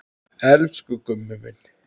Elsku Gummi minn.